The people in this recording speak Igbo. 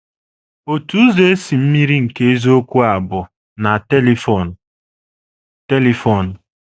Otu ụzọ e si mmiri nke eziokwu a bụ na telifon. telifon.